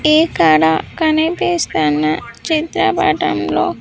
ఇక్కడ కనిపిస్తున్న చిత్రపటంలో.